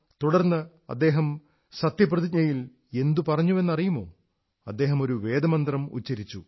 തുടർന്ന് അദ്ദേഹം ശപഥത്തിൽ എന്തു പറഞ്ഞുവെന്നറിയുമോ അദ്ദേഹം ഒരു വേദമന്ത്രം ഉച്ചരിച്ചു